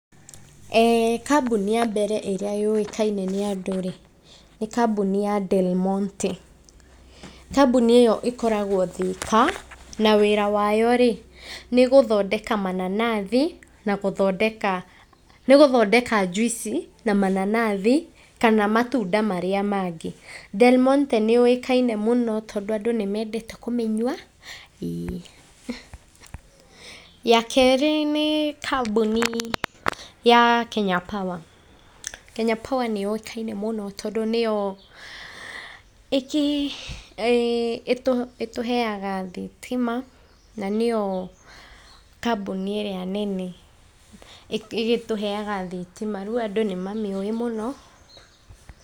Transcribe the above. Ee kambuni ya mbere ĩrĩa yũĩkaine nĩ andũ rĩ, nĩ kambuni ya Del monte. Kambuni ĩyo ĩkoragwo Thĩka, na wĩra wayo rĩ, nĩ gũthondeka mananathi na gũthondeka, nĩ gũthondeka njuici na mananathi kana matunda marĩa mangĩ. Del Monte nĩ yũĩkaine mũno tondũ andũ nĩ menendete kũmĩnyua, ĩĩ. Ya kerĩ nĩ kambuni ya Kenya Power. Kenya Power nĩ yũĩkaine mũno tondũ nĩyo ĩtũheaga thitima na nĩyo kambuni ĩrĩa nene ĩgĩtũheaga thitima na rĩu andũ nĩ mamĩũĩ mũno.